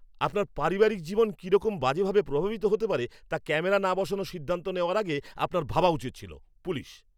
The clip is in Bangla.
আপনার পারিবারিক জীবন কিরকম বাজেভাবে প্রভাবিত হতে পারে তা ক্যামেরা না বসানোর সিদ্ধান্ত নেওয়ার আগে আপনার ভাবা উচিত ছিল। পুলিশ